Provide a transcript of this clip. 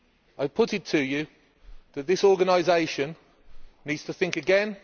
I put it to you that this organisation needs to think again.